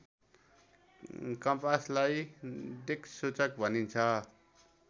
कम्पासलाई दिक्सूचक भनिन्छ